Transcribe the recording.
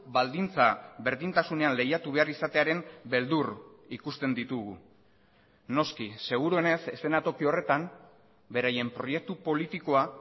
baldintza berdintasunean lehiatu behar izatearen beldur ikusten ditugu noski seguruenez eszenatoki horretan beraien proiektu politikoa